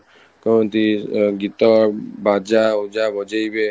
କହନ୍ତି ଗୀତ ବାଜା ବଜେଇବେ